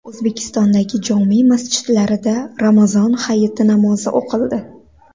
O‘zbekistondagi jome masjidlarida Ramazon hayiti namozi o‘qildi.